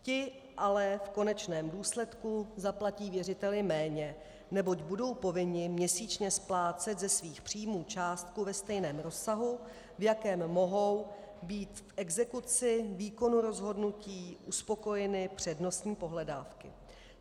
Ti ale v konečném důsledku zaplatí věřiteli méně, neboť budou povinni měsíčně splácet ze svých příjmů částku ve stejném rozsahu, v jakém mohou být v exekuci výkonu rozhodnutí uspokojeny přednostní pohledávky.